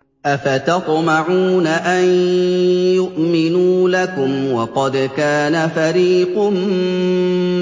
۞ أَفَتَطْمَعُونَ أَن يُؤْمِنُوا لَكُمْ وَقَدْ كَانَ فَرِيقٌ